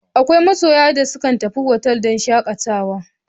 Akwai masoya da kan tafi otal don shakatawa.